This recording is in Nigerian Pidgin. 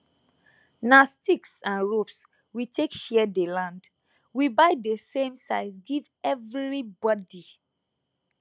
nah sticks and ropes we take share dey land we buy dey same size give everi bodi